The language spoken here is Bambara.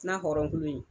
N'a hɔrɔnkolo